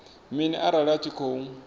mini arali a tshi khou